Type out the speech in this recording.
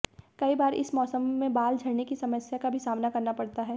कई बार इस मौसम में बाल झड़ने की समस्या का भी सामना करना पड़ता है